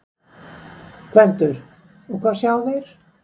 GVENDUR: Og hvað sjá þeir?